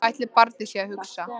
Hvað ætli barnið sé að hugsa?